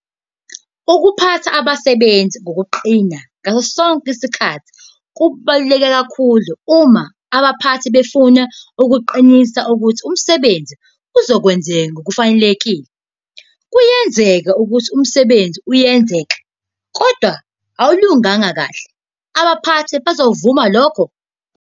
Ukuphatha abasebenzi ngokuqina ngaso sonke isikhathi kubalulekile kakhulu uma abaphathi bafuna ukuqinisa ukuthi umsebenzi uzokwenziwa ngokufanelekile. Kuyenzeka ukuthi umsebenzi uyenzeka kodwa awulunganga kahle, abaphathi bazokuvuma lokho?